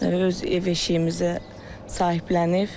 Öz ev-eşiyimizə sahiblənib.